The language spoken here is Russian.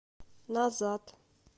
назад